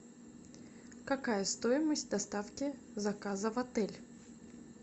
какая стоимость доставки заказа в отель